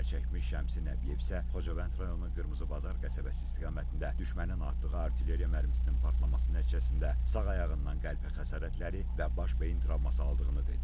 Zərər çəkmiş Şəmsi Nəbiyev isə Xocavənd rayonu Qırmızı Bazar qəsəbəsi istiqamətində düşmənin atdığı artilleriya mərmisinin partlaması nəticəsində sağ ayağından qəlpə xəsarətləri və baş beyin travması aldığını dedi.